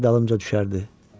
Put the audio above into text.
lər dalımca düşərdi.